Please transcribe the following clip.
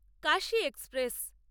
Kashi express